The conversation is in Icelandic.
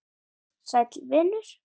Sæll vinur